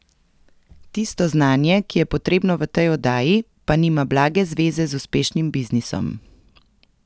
Tisto znanje, ki je potrebno v tej oddaji, pa nima blage zveze z uspešnim biznisom.